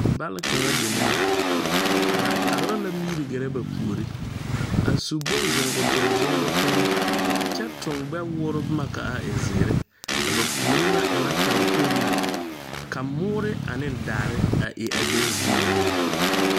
Bal kaŋa deme la ba tagra la miri gɛrɛ ba puore a su bon zuŋkotuŋ zuŋutoŋ kyɛ tuŋ gbɛ woore bomma ka a e zeere a ba puore na e ŋa taŋ kpoŋ la ka moɔrre aneŋ daare a e a be zii lɛ.